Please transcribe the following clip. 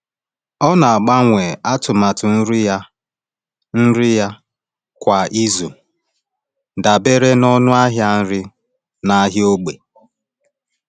Ọ na-agbanwe atụmatụ nri ya nri ya kwa izu dabere n’ọnụ ahịa nri n’ahịa ógbè.